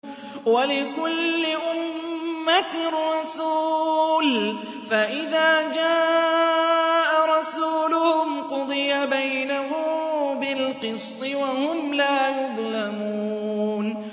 وَلِكُلِّ أُمَّةٍ رَّسُولٌ ۖ فَإِذَا جَاءَ رَسُولُهُمْ قُضِيَ بَيْنَهُم بِالْقِسْطِ وَهُمْ لَا يُظْلَمُونَ